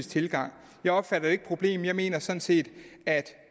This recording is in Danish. tilgang jeg opfatter ikke problem jeg mener sådan set